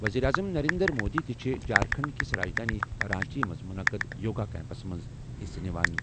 وزیر اعظم نریندر مودی تہِ چھُ جھارکھنڈ کِس راجدھانی رانچی منٛز منعقد یوگا کیمپس منٛز حصہٕ نِوان۔